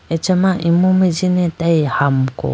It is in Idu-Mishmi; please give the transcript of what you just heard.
achama imu mai jine atayi hamuku.